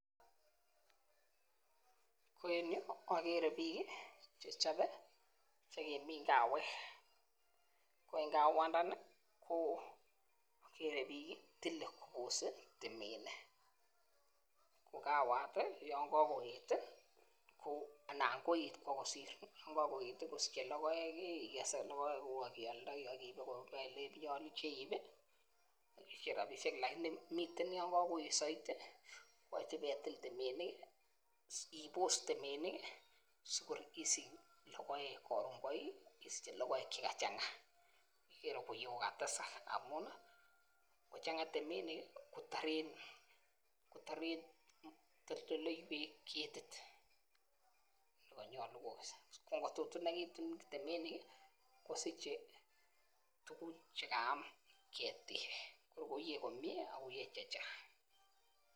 En yuu okere bik kii chechobe chekimin kawek, ko en kawandani okere bik kii tile kobose temenik, ko kawat tii yon kokoyet tii ko anan koet bo kosir . Yon kokoyet tii kosiche lokoek kii ikes lokoek kuku ak ioldoi ak iibe koba ole yoche iibii isiche rabishek lakini miten yon kokoyet soiti ipetil temenik kii ibos temenik kii sikor isich lokoek korun koi isiche lokoek chekachanga ikere koiye ko katesak amun nii ngochenga temenik kotoren kotoret kotoldoloiwek ketit nekonyolu konyolu kokes ko ngotutinekitun temekin kii kosiche tukun chekayam ketik ako iyee komie ako iyee chechang.